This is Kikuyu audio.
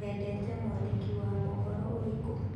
Wendete mwandĩki wa mohoro ũrĩkũ?